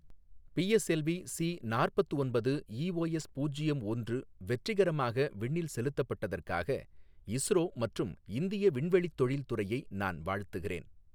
PSLV C நாற்பத்து ஒன்பது EOS பூஜ்யம் ஒன்று வெற்றிகரமாக விண்ணில் செலுத்தப்பட்டதற்காக இஸ்ரோ மற்றும் இந்திய விண்வெளித் தொழில் துறையை நான் வாழ்த்துகிறேன்.